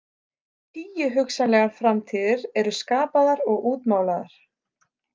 Tíu hugsanlegar framtíðir eru skapaðar og útmálaðar.